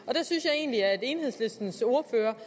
og der synes jeg egentlig at enhedslistens ordfører